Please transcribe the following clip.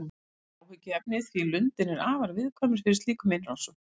Þetta er áhyggjuefni því lundinn er afar viðkvæmur fyrir slíkum innrásum.